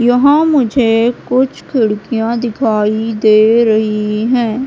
यहाँ मुझे कुछ खिड़कियाँ दिखाई दे रही हैं।